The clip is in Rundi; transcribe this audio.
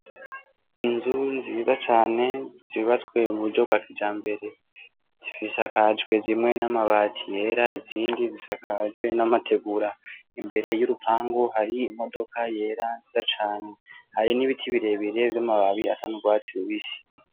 Inzu nziza cane zubatswe mu buryo bwa kijambere, zisakajwe zimwe n'amabati yera, izindi zisakajwe n'amategura. Imbere y'urupangu hari imodoka yera nziza cane, hari n'ibiti birebire vy'amababi asa n'urwatsi rubisi.